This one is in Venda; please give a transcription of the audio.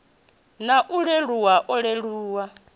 na u leluwa u leluwa